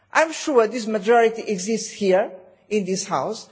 I am sure that majority exists here in this House